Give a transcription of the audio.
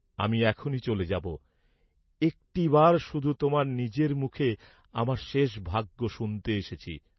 আমি এখনি চলে যাব, একটিবার শুধু তোমার নিজের মুখে আমার শেষ ভাগ্য শুনতে এসেছি।